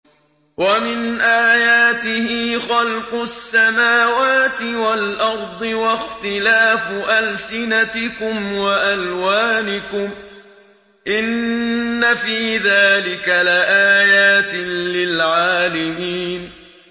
وَمِنْ آيَاتِهِ خَلْقُ السَّمَاوَاتِ وَالْأَرْضِ وَاخْتِلَافُ أَلْسِنَتِكُمْ وَأَلْوَانِكُمْ ۚ إِنَّ فِي ذَٰلِكَ لَآيَاتٍ لِّلْعَالِمِينَ